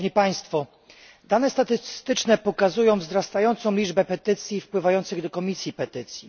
Dane statystyczne pokazują wzrastającą liczbę petycji wpływających do Komisji Petycji.